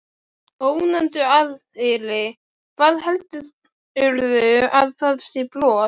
Ónefndur aðili: Hvað, heldurðu að það sé brot?